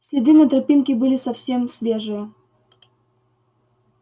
следы на тропинке были совсем свежие